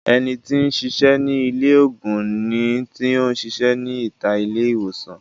Ẹni tí ń sisẹ́ ní ilé ògùn ni tí ó ń sisẹ́ ní ìta ilé ìwòsàn